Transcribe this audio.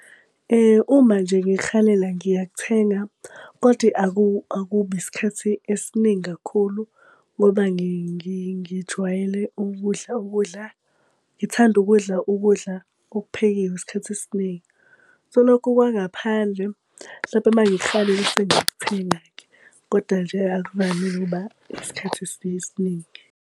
Uma nje ngihalela ngiyakuthenga, kodwa akubi isikhathi esiningi kakhulu ngoba ngijwayele ukudla ukudla. Ngithanda ukudla ukudla okuphekiwe isikhathi esiningi. So, lokhu kwangaphandle hlampe uma ngikuhalela bese ngiyakuthenga-ke. Koda nje akuvamile ukuba isikhathi esiningi.